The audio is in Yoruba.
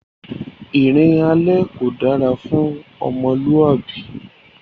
Ìrìn alẹ́ kò dára fún ọmọlúwàbí